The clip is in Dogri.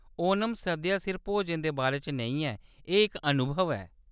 ओणम सद्या सिर्फ भोजन दे बारे च नेईं ऐ, एह्‌‌ इक अनुभव ऐ।